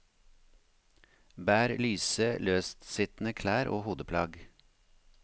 Bær lyse, løstsittende klær og hodeplagg.